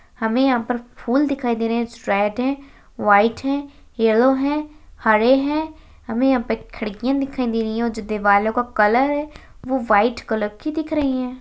हमे यहाँ पर फूल दिखाई दे रहे है जो रेड है व्हाइट है येलो है हरे है हमे यहाँ पे खिड़कीयां दिखाई दे रही है और जो दीवारों का कलर है वो व्हाइट कलर की दिख रही है।